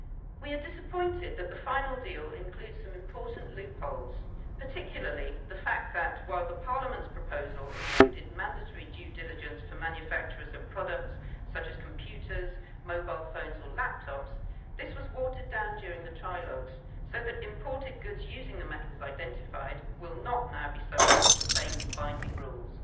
We are disappointed that the final deal includes some important loopholes, particularly the fact that while Parliament's proposal included mandatory due diligence for manufacturers of products such as computers, mobile phones or laptops, this was watered down during the trilogues so that imported goods using the metals identified will not now be subject to the same binding rules.